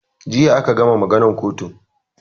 Jiya aka gama maganan kotun